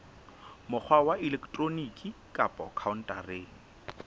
mokgwa wa elektroniki kapa khaontareng